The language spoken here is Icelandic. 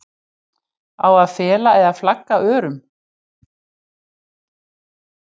Á að fela eða flagga örum?